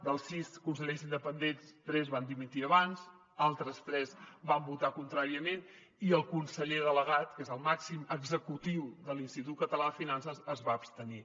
dels sis consellers independents tres van dimitir abans altres tres van votar contràriament i el conseller delegat que és el màxim executiu de l’institut català de finances es va abstenir